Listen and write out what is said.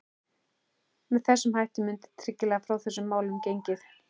Með þessum hætti mundi tryggilega frá þessum málum gengið.